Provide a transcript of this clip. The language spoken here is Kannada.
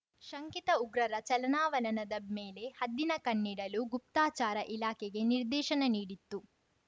ಶಂಕಿತ ಉಗ್ರರ ಚಲನಾವಲನದ ಮೇಲೆ ಹದ್ದಿನ ಕಣ್ಣಿಡಲು ಗುಪ್ತಚಾರ ಇಲಾಖೆಗೆ ನಿರ್ದೇಶನ ನೀಡಿತ್ತು